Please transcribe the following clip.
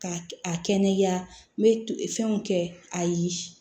Ka a kɛnɛya n bɛ fɛnw kɛ ayi